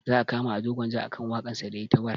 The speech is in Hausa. Za a kama ado gwanja akan waƙar sa da yayi ta warr